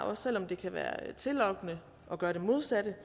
også selv om det kan være tillokkende at gøre det modsatte